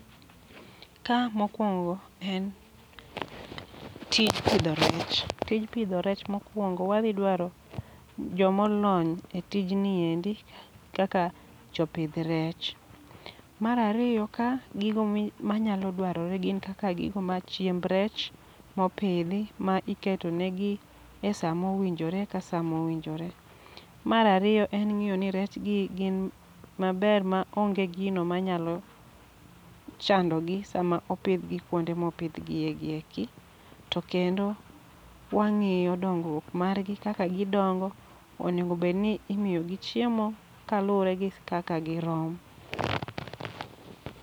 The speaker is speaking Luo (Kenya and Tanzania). Ka mokwongo en tij pidho rech, tij pidho rech mokwongo wadhi dwaro jomolony e tijni endi kaka jopidh rech. Marariyo ka gigo mi manyalo dwarore gin kaka gigo ma chiemb rech mopidhi ma iketo negi e samo winjore ka samo winjore. Marariyo en ng'iyo ni rech gi gin maber ma onge gino ma nyalo chando gi sama opidhgi kuonde mopidhgie gieki. To kendo wang'iyo dongruok margi kaka gidongo, onego bedni imiyo gi chiemo ka luwore gi kaka girom.